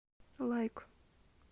лайк